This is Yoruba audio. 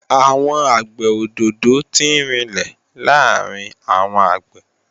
Àgbẹ̀ òdòdó tí ń rinlẹ̀ làárín àwọn àgbẹ̀